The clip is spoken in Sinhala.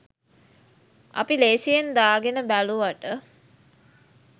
අපි ලේසියෙන් දාගෙන බැලුවට